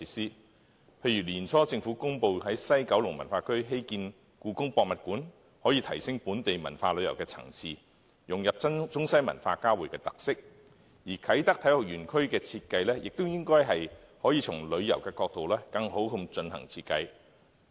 舉例而言，年初政府公布在西九文化區興建香港故宮文化博物館，便可以提升本地文化旅遊的層次，融入中西文化交匯的特色；而啟德體育園區亦應從旅遊的角度更好地進行設計。